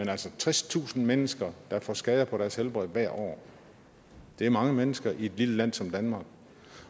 er altså tredstusind mennesker der får skader på deres helbred hvert år det er mange mennesker i et lille land som danmark